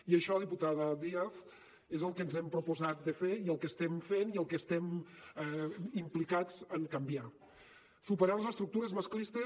i això diputada díaz és el que ens hem proposat de fer i el que estem fent i en el que estem implicats en canviar superar les estructures masclistes